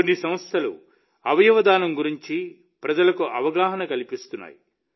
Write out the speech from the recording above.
కొన్ని సంస్థలు అవయవ దానం గురించి ప్రజలకు అవగాహన కల్పిస్తున్నాయి